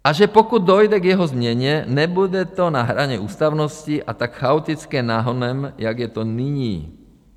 A že pokud dojde k jeho změně, nebude to na hraně ústavnosti a tak chaotické nahonem, jak je to nyní.